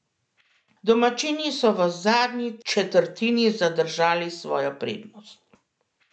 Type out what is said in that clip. Domačini so v zadnji četrtini zadržali svojo prednost.